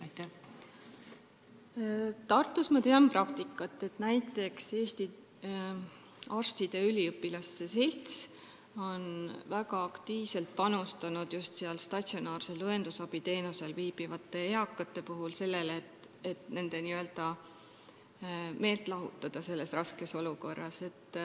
Ma tean, et Tartus on näiteks Eesti Arstiteadusüliõpilaste Selts väga aktiivselt panustanud sellesse, et just statsionaarset õendusabiteenust saavate eakate meelt selles raskes olukorras lahutada.